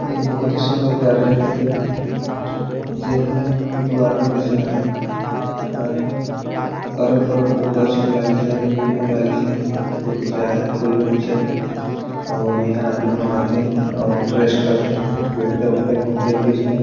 एक बहुत ही सुन्दर गार्डन है कि जे में दु आदमी दिखत है और अरण -बरण गछ में लागीस है फूल मन लागीस है बगीचा है फूल बगीचा और इहाँ आदमी मन आत है और रेस्ट करत है बैठते -उठते है घूमते -फिरते --